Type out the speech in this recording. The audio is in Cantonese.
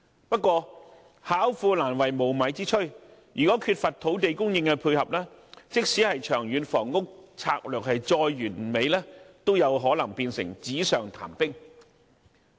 不過，"巧婦難為無米之炊"，如果缺乏土地供應配合，即使《長遠房屋策略》再完美，也有可能變成紙上談兵。